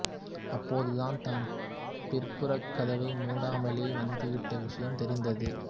அப்போதுதான் தான் பின்புறக் கதவை மூடாமலே வந்துவிட்ட விஷயம் தெரிந்தது